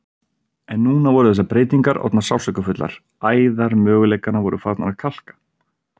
En núna voru þessar breytingar orðnar sársaukafullar, æðar möguleikanna voru farnar að kalka.